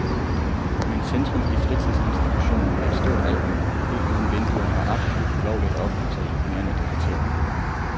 Men centrum i fritidsinstitutionen er et stort alrum, helt uden vinduer og absolut ulovligt at opholde sig i mere end et kvarter.